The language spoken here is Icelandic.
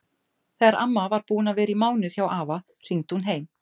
Þegar amma var búin að vera í mánuð hjá afa hringdi hún heim.